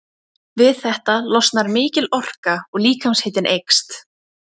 Við þetta losnar mikil orka og líkamshitinn eykst.